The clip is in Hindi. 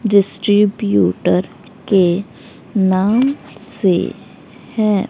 डिस्ट्रीब्यूटर के नाम से है।